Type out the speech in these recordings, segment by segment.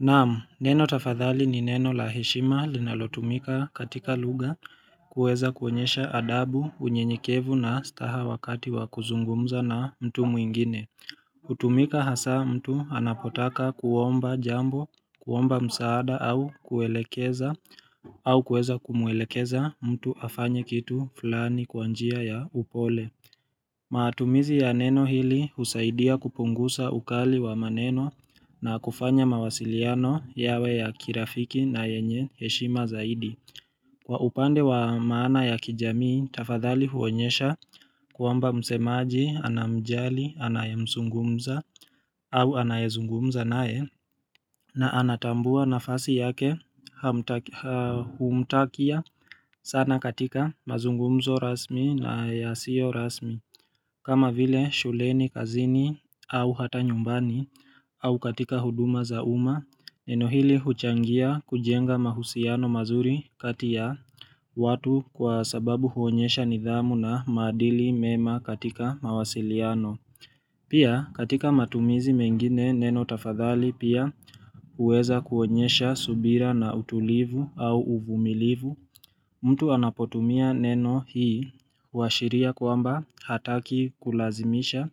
Naamu, neno tafadhali ni neno la heshima linalotumika katika lugha kuweza kuonyesha adabu, unyenyekevu na staha wakati wa kuzungumza na mtu mwingine. Hutumika hasa mtu anapotaka kuomba jambo, kuomba msaada au kuelekeza au kueza kumuelekeza mtu afanye kitu fulani kwa njia ya upole. Matumizi ya neno hili husaidia kupunguza ukali wa maneno na kufanya mawasiliano yawe ya kirafiki na yenye heshima zaidi. Kwa upande wa maana ya kijamii, tafadhali huonyesha kwamba msemaji anamjali anayemzungumza au anayezungumza naye na anatambua nafasi yake humtakia sana katika mazungumzo rasmi na yasiyo rasmi. Kama vile shuleni kazini au hata nyumbani au katika huduma za uma, neno hili huchangia kujenga mahusiano mazuri kati ya watu kwa sababu huonyesha nidhamu na madili mema katika mawasiliano. Pia katika matumizi mengine neno tafadhali pia huweza kuonyesha subira na utulivu au uvumilivu. Mtu anapotumia neno hii huashiria kwamba hataki kulazimisha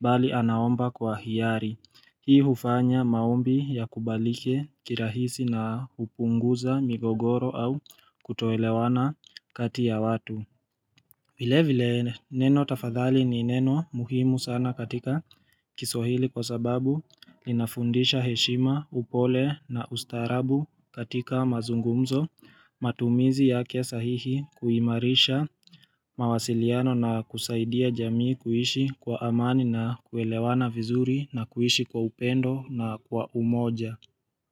bali anaomba kwa hiari. Hii hufanya maombi yakubalike kirahisi na kupunguza migogoro au kutoelewana kati ya watu. Vile vile neno tafadhali ni neno muhimu sana katika kiswahili kwa sababu linafundisha heshima, upole na ustarabu katika mazungumzo matumizi yake sahihi kuimarisha mawasiliano na kusaidia jamii kuishi kwa amani na kuelewana vizuri na kuishi kwa upendo na kwa umoja.